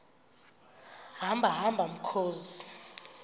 hamba hamba mkhozi